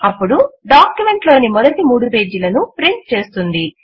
అప్పుడు డాక్యుమెంట్ లోని మొదటి మూడు పేజీలను ప్రింట్ చేస్తుంది